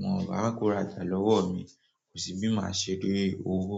wọ́n bá kóra jà lọ́wọ́ mi, kò sí bí màá ṣe dẹ owó.